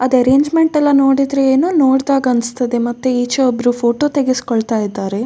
ಅದು ಅರೆಂಜ್ಮೆಂಟ್ ಎಲ್ಲ ನೋಡಿದ್ರೆ ಏನೋ ನೋಡ್ದಾಗನಿಸ್ತದೆ ಮತ್ತೆ ಈಚೆ ಒಬ್ರು ಫೋಟೋ ತೆಗೆಸಿಕೊಳ್ತಾ ಇದ್ದಾರೆ.